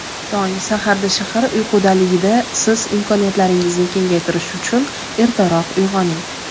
tong saharda shahar uyqudaligida siz imkoniyatlaringizni kengaytirish uchun ertaroq uyg‘oning.